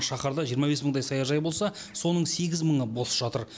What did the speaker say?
шаһарда жиырма бес мыңдай саяжай болса соның сегіз мыңы бос жатыр